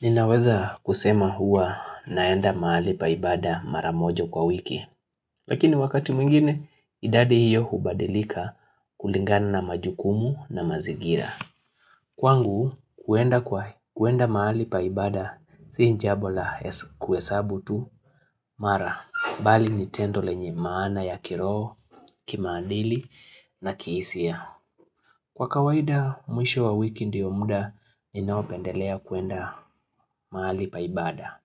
Ninaweza kusema huwa naenda mahali pa ibada mara moja kwa wiki, lakini wakati mwingine idadi hiyo hubadilika kulingana na majukumu na mazingira. Kwangu, kuenda kwa mahali pa ibada sijambo la kuhesabu tu mara, bali nitendo lenye maana ya kiroho, kimaandili na kihisia. Kwa kawaida, mwisho wa wiki ndio muda ninaopendelea kuenda mahali pa ibada.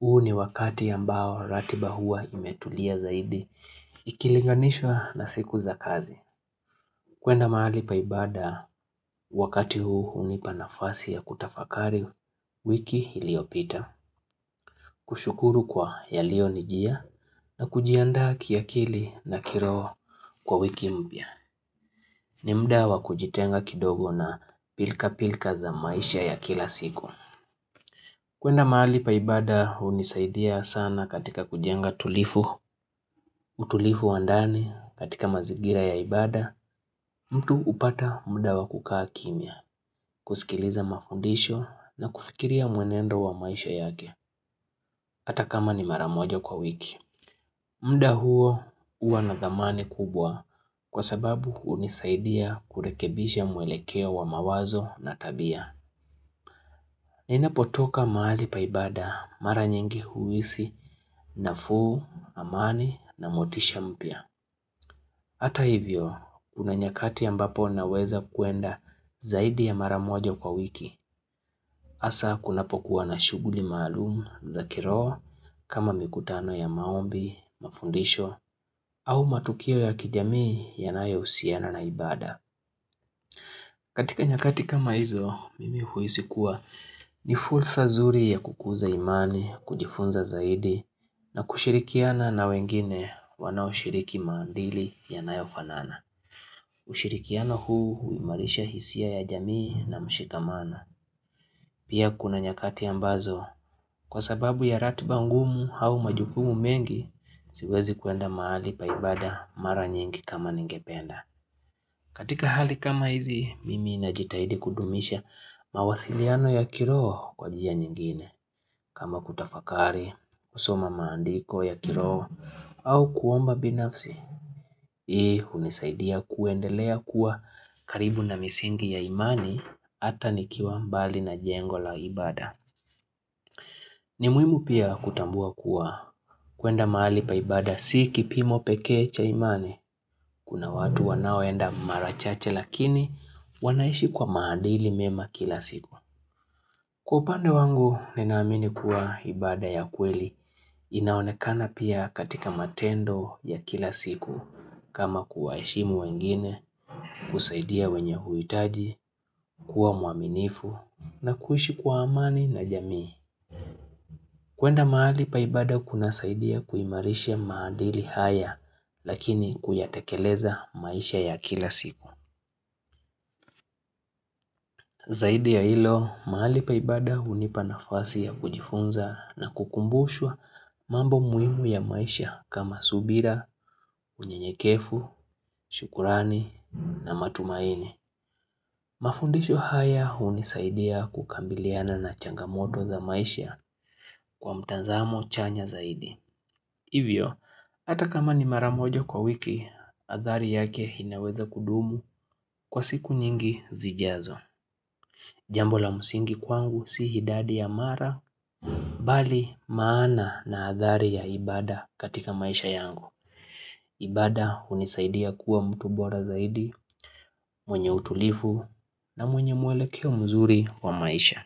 Huu ni wakati ambao ratiba huwa imetulia zaidi, ikilinganishwa na siku za kazi. Kwenda mahali pa ibada, wakati huu hunipa nafasi ya kutafakari, wiki iliopita. Kushukuru kwa yalio nijia na kujiandaa kiakili na kiroho kwa wiki mpya. Ni mda wakujitenga kidogo na pilka-pilka za maisha ya kila siku. Kwenda mahali pa ibada unisaidia sana katika kujenga tulivu, utulivu wa ndani katika mazingira ya ibada, mtu hupata mda wakukaa kimya, kusikiliza mafundisho na kufikiria mwenendo wa maisha yake, ata kama ni mara moja kwa wiki. Mda huo huwa na dhamani kubwa, kwa sababu hunisaidia kurekebisha mwelekeo wa mawazo na tabia ninapotoka mahali pa ibada mara nyingi huhisi nafuu, amani na motisha mpya. Hata hivyo, kuna nyakati ambapo naweza kwenda zaidi ya mara moja kwa wiki. Hasa kunapokuwa na shughuli maalumu za kiroho kama mikutano ya maombi, mafundisho au matukio ya kijamii yanayohusiana na ibada. Katika nyakati kama hizo, mimi huhisi kuwa ni fursa zuri ya kukuza imani, kujifunza zaidi, na kushirikiana na wengine wanao shiriki maandili ya nayofanana. Ushirikiano huu huimarisha hisia ya jamii na mshikamana. Pia kuna nyakati ambazo, kwa sababu ya ratiba ngumu au majukumu mengi, siwezi kwenda mahali pa ibada mara nyingi kama ningependa. Katika hali kama hizi, mimi najitahidi kudumisha mawasiliano ya kiroho kwa njia nyingine. Kama kutafakari, kusoma maandiko ya kiroho, au kuomba binafsi, hii unisaidia kuendelea kuwa karibu na misingi ya imani ata nikiwa mbali na jengo la ibada. Ni muhimu pia kutambua kuwa kwenda mahali pa ibada si kipimo pekee cha imani. Kuna watu wanao enda mara chache lakini wanaishi kwa maandili mema kila siku. Kwa upande wangu ninaamini kuwa ibada ya kweli inaonekana pia katika matendo ya kila siku. Kama kuwaheshimu wengine, kusaidia wenye huitaji, kuwa mwaminifu na kuishi kwa amani na jamii. Kwenda mahali pa ibada kuna saidia kuimarisha maandili haya lakini kuyatekeleza maisha ya kila siku. Zaidi ya hilo, mahali pa ibada hunipa nafasi ya kujifunza na kukumbushwa mambo muhimu ya maisha kama subira, unyenyekefu, shukrani na matumaini. Mafundisho haya unisaidia kukambiliana na changamoto za maisha kwa mtanzamo chanya zaidi. Hivyo, hata kama ni mara moja kwa wiki, athari yake inaweza kudumu kwa siku nyingi zijazo. Jambo la msingi kwangu si idadi ya mara, bali maana na athari ya ibada katika maisha yangu. Ibada unisaidia kuwa mtu bora zaidi, mwenye utulifu na mwenye mwelekeo mzuri wa maisha.